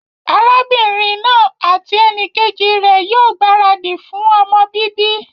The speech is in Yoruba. Arábínrin naa àti enìkejì rè ní yío gbàradì fun ọmọ bíbí